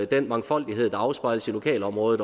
den mangfoldighed der også afspejles i lokalområdet